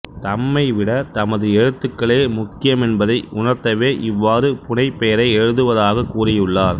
தம்மை விட தமது எழுத்துக்களே முக்கியமென்பதை உணர்த்தவே இவ்வாறு புனைப்பெயரை எழுதுவதாகக் கூறியுள்ளார்